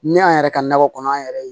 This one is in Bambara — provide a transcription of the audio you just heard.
Ne y'an yɛrɛ ka nakɔ kɔnɔ an yɛrɛ ye